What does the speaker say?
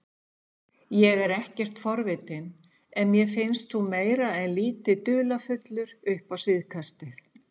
Ég er ekkert forvitinn en mér finnst þú meira en lítið dularfullur upp á síðkastið